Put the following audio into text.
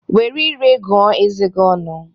Were ire gị gụọ eze gi ọnụ